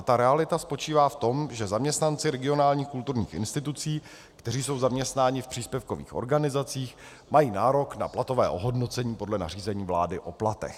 A ta realita spočívá v tom, že zaměstnanci regionálních kulturních institucí, kteří jsou zaměstnaní v příspěvkových organizacích, mají nárok na platové ohodnocení podle nařízení vlády o platech.